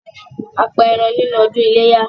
A pa ẹran nínú ọdún ilé yá